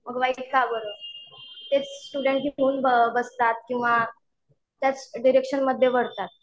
मग वाईटच का बरं? तेच स्टुडन्ट बसतात किंवा त्याच डिरेक्शनमध्ये वळतात.